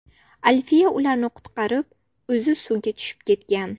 Alfiya ularni qutqarib, o‘zi suvga tushib ketgan.